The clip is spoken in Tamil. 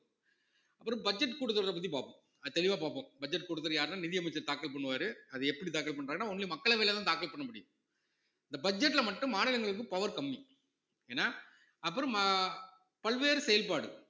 அப்புறம் budget கொடுக்கிறத பத்தி பார்ப்போம் அது தெளிவா பார்ப்போம் budget கொடுக்கிறது யாருன்னா நிதி அமைச்சர் தாக்கல் பண்ணுவாரு அது எப்படி தாக்கல் பண்றாங்கன்னா only மக்களவையிலதான் தாக்கல் பண்ண முடியும் இந்த budget ல மட்டும் மாநிலங்களுக்கு power கம்மி ஏன்னா அப்புறம் மா~ பல்வேறு செயல்பாடு